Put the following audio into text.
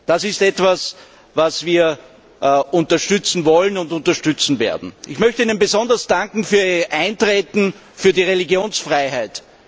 Das ist etwas, was wir unterstützen wollen und unterstützen werden. Ich möchte Ihnen besonders danken für Ihr Eintreten für die Religionsfreiheit.